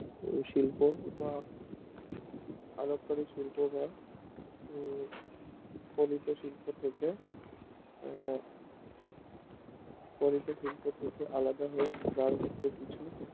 শিল্প বা এল করে শিল্প বা উম শিল্প থেকে উম ফরিদ শিল্প থাকে আলাদা কিছু